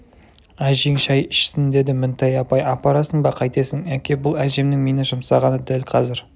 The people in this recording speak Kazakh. әжең шай ішсін деді мінтай апай апарасың ба қайтесің әке бұл әжемнің мені жұмсағаны дәл қазір